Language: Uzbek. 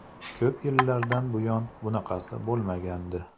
Ko‘p yillardan buyon bunaqasi bo‘lmagandi.